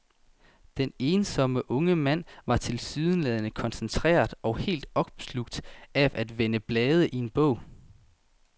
Den ensomme unge mand var tilsyneladende koncentreret og helt opslugt af at vende blade i en bog.